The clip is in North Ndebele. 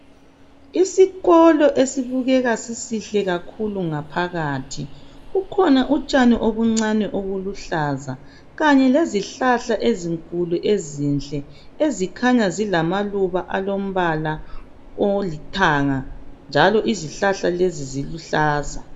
Isikolo esibukeka sisihle kakhulu ngaphakathi kukhona utshani obuncani obuluhlaza kanye lezihlahla ezinkulu ezinhle ezikhanya zilamaluba alombala olithanga njalo izihlahla lezi eziluhlaza.